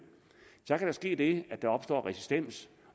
så kan ske det at der opstår resistens